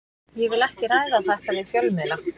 Ég vil ekki ræða þetta við fjölmiðla.